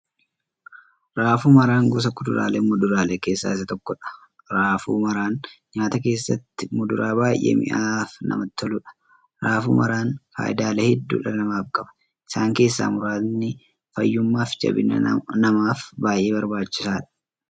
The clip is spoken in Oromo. Raafuu maraan gosa kuduraaleefi muduraalee keessaa isa tokkodha. Raafuu maraan nyaataa keessatti muduraa baay'ee mi'aawaafi namatti toluudha. Raafuu maraan faayidaalee hedduu dhala namaaf qaba. Isaan keessaa muraasni; fayyummaafi jabina namaaf baay'ee barbaachisaadha.